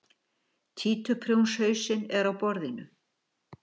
Títuprjónshausinn er á borðinu.